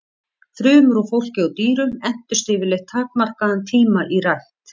Frumur úr fólki og dýrum entust yfirleitt takmarkaðan tíma í rækt.